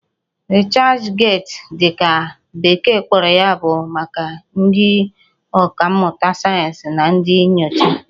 Researchgate' dị ka bekee kpọrọ ya bụ maka ndị ọkà mmụta sayensị na ndị nyocha